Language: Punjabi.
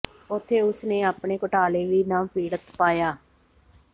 ਉੱਥੇ ਉਸ ਨੇ ਆਪਣੇ ਘੁਟਾਲੇ ਲਈ ਨਵ ਪੀੜਤ ਪਾਇਆ